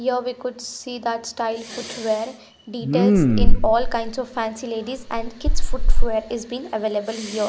Here we could see that style footwear details in all kinds of fancy ladies and kids footware is being available here.